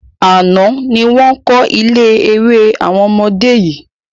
Àná ni wọn kọ́ ilé eré àwọn ọmọdé yìí